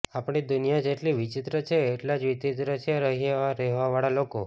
આપણી દુનિયા જેટલી વિચિત્ર છે એટલા જ વિચિત્ર છે અહિયાં રહેવાવાળા લોકો